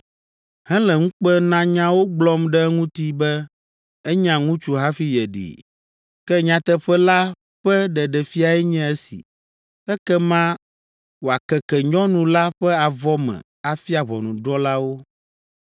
hele ŋukpenanyawo gblɔm ɖe eŋuti be enya ŋutsu hafi yeɖee. Ke nyateƒe la ƒe ɖeɖefiae nye esi.” Ekema wòakeke nyɔnu la ƒe avɔ me afia ʋɔnudrɔ̃lawo.